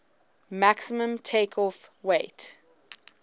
maximum takeoff weight